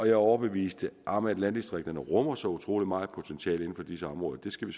er overbevist om at landdistrikterne rummer så utrolig meget potentiale på disse områder det skal vi